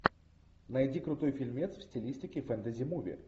найди крутой фильмец в стилистике фэнтези муви